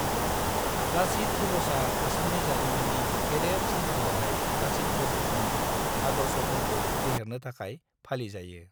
लाचित दिवसआ आसामनि जारिमिन्नि गेदेर सान्थ्रि-गाहाय लाचित बरफुकननि आदर्शफोरखौ फेहेरनो थाखाय फालिजायो।